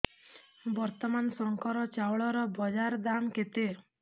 ବର୍ତ୍ତମାନ ଶଙ୍କର ଚାଉଳର ବଜାର ଦାମ୍ କେତେ